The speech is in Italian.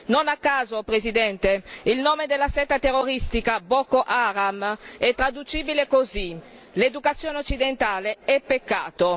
Non a caso, signora Presidente, il nome della setta terroristica Boko Haram è traducibile così l'educazione occidentale è peccato.